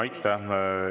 Aitäh!